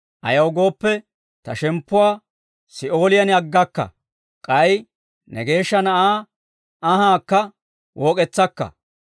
Ayaw gooppe, ta shemppuwaa, Si'ooliyaan aggakka. K'ay ne Geeshsha Na'aa anhaakka wook'etsakka.